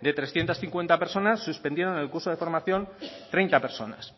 de trescientos cincuenta personas suspendieron el curso de formación treinta personas